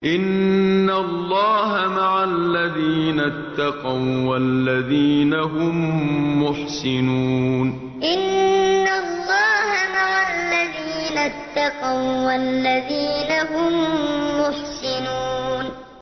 إِنَّ اللَّهَ مَعَ الَّذِينَ اتَّقَوا وَّالَّذِينَ هُم مُّحْسِنُونَ إِنَّ اللَّهَ مَعَ الَّذِينَ اتَّقَوا وَّالَّذِينَ هُم مُّحْسِنُونَ